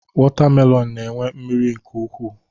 Wọtamelọn na-enwe mmiri nke ukwu.